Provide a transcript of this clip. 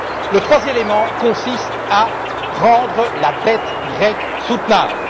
Le troisième élément consiste à rendre la dette grecque soutenable.